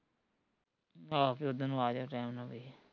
ਆਹੋ ਬੀ ਓਦਣ ਨੂੰ ਆਜੀਓ ਟੈਮ ਨਾਲ਼ ਬਈ